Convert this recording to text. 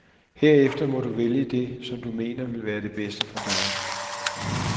Herefter må du vælge det, som du mener, vil være det bedste for dig.